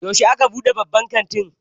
Yaushe aka buɗe babban kantin?